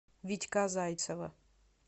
витька зайцева